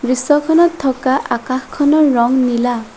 দৃশ্যখনত থকা আকাশখনৰ ৰং নীলা।